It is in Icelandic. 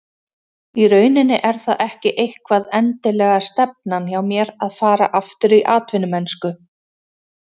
Í rauninni er það ekki eitthvað endilega stefnan hjá mér að fara aftur í atvinnumennsku.